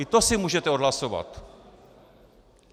I to si můžete odhlasovat.